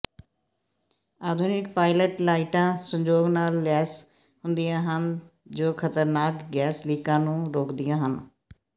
ਆਧੁਨਿਕ ਪਾਇਲਟ ਲਾਈਟਾਂ ਸੰਜੋਗ ਨਾਲ ਲੈਸ ਹੁੰਦੀਆਂ ਹਨ ਜੋ ਖ਼ਤਰਨਾਕ ਗੈਸ ਲੀਕਾਂ ਨੂੰ ਰੋਕਦੀਆਂ ਹਨ